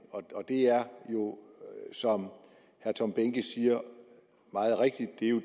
det er jo som herre tom behnke siger